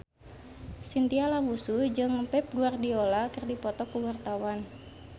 Chintya Lamusu jeung Pep Guardiola keur dipoto ku wartawan